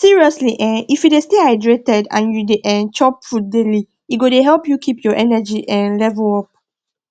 seriously um if you de stay hydrated and you de um chop fruits daily e go help you keep your energy um level up